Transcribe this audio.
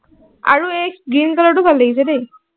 আৰু এই green color টো ভাল লাগিছে দেই।